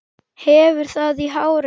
Hefur það í hárinu.